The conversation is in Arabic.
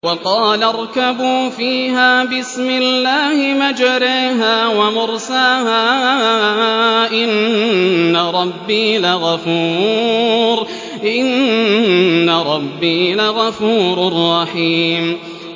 ۞ وَقَالَ ارْكَبُوا فِيهَا بِسْمِ اللَّهِ مَجْرَاهَا وَمُرْسَاهَا ۚ إِنَّ رَبِّي لَغَفُورٌ رَّحِيمٌ